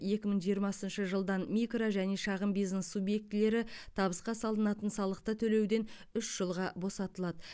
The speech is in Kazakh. екі мың жиырмасыншы жылдан микро және шағын бизнес субъектілері табысқа салынатын салықты төлеуден үш жылға босатылады